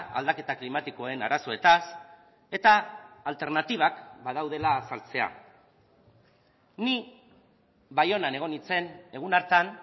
aldaketa klimatikoen arazoetaz eta alternatibak badaudela azaltzea ni baionan egon nintzen egun hartan